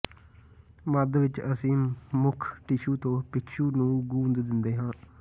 ਮੱਧ ਵਿਚ ਅਸੀਂ ਮੁੱਖ ਟਿਸ਼ੂ ਤੋਂ ਪਿੰਕਸ਼ੂ ਨੂੰ ਗੂੰਦ ਦਿੰਦੇ ਹਾਂ